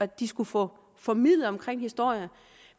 de skulle få formidlet i historie